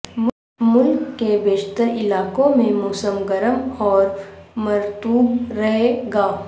ملک کے بیشتر علاقوں میں موسم گرم اور مرطوب رہے گا